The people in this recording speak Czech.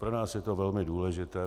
Pro nás je to velmi důležité.